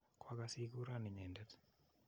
Kwa kas ikuron inyendet.